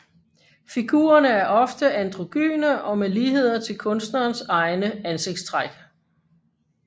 Figurerne er ofte androgyne og med ligheder til kunstnerens egne ansigtstræk